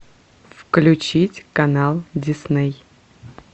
включить канал дисней